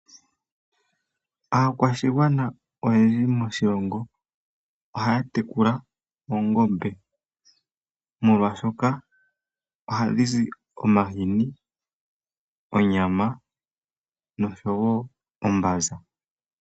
Aakwashigwana oyendji moshilongo ohaya tekula oongombe molwaashoka ohadhi zi omahini, onyama nosho wo ombanza.